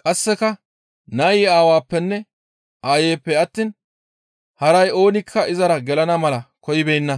qasseka nayi aawappenne aayppe attiin haray oonikka izara gelana mala koyibeenna.